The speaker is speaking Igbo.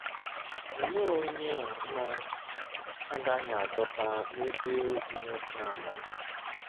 Olee onye a na - agaghị adọta n’ebe ụdị nwoke a nọ?